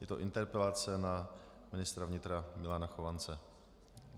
Je to interpelace na ministra vnitra Milana Chovance.